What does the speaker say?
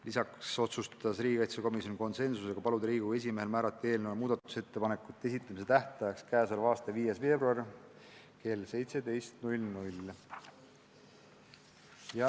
Lisaks otsustas riigikaitsekomisjon konsensuslikult paluda Riigikogu esimehel määrata eelnõu muudatusettepanekute esitamise tähtajaks k.a 5. veebruari kell 17.